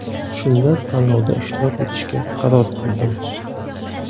Shunda tanlovda ishtirok etishga qaror qildim.